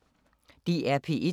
DR P1